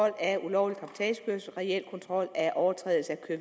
af ulovlig cabotagekørsel reel kontrol af overtrædelse af